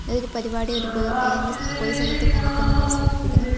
ഇത് ഒരു പരിപാടി ഒരു പൊ അല്ലെങ്കി പൊതു സ്ഥലത്ത് നടക്കുന്നുണ്ടെന്ന് സൂചിപ്പിക്കുന്നു.